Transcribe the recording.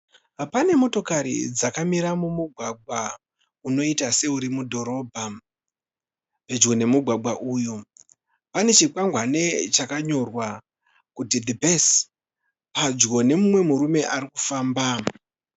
Pane motokari dzakamira mumugwagwa unoita seuri mudhorobha. Pedyo nemugwagwa uyu pane chikwangwani chakanyorwa kuti "The best' pedyo nemumwe murume arikufamba.